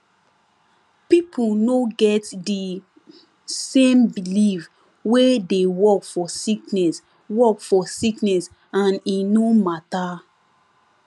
pipo no get de same belief wey dey work for sickness work for sickness and e no mata